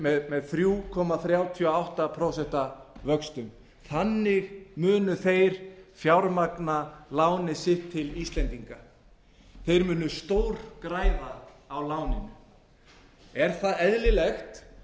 með þrjá komma þrjátíu og átta prósent vöxtum þannig munu þeir fjármagna lánið sitt til íslendinga þeir munu stórgræða á láninu er það eðlilegt